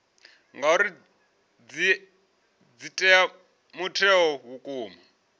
ngauri dzi ea mutheo vhukuma